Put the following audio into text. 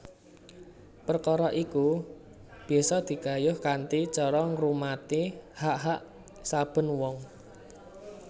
Perkara iku bisa digayuh kanthi cara ngurmati hak hak saben wong